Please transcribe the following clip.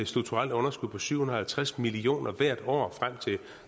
strukturelt underskud på syv hundrede og halvtreds million kroner hvert år frem til